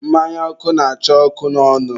mmanya ọkụ na-acha ọkụ n'ọnụ.